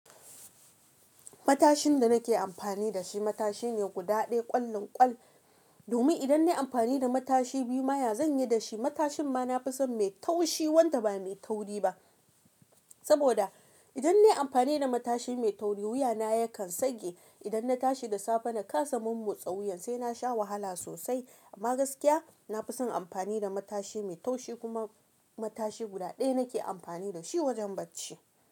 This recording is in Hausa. Matashin da nake amfani da shi matashi ne guda ɗaya ƙwallin ƙwal Domin idan na yi amfani da matashi biyu ma ya, zan yi da shi matashin ma na fi son mai taushi wanda ba mai tauri ba. Saboda idan na yi amfani da matashi mai tauri wuya na yakan tsage. Idan na tashi da safe na kasa momotsa wuyan sai na sha wahala sosai. Amma gaskiya na fi son amfani da matashi mai taushi kuma matashi guda ɗaya nake amfani da shi wajen bacci.